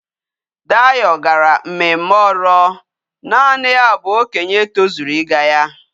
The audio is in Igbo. Dayo gara mmemme oro. naani ya bu okenye tozuru íga ya